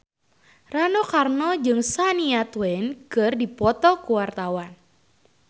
Rano Karno jeung Shania Twain keur dipoto ku wartawan